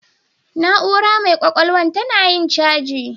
Na'ura mai ƙwaƙwalwan tana yin caji.